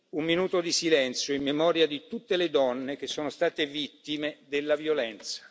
un minuto di silenzio in memoria di tutte le donne che sono state vittime della violenza.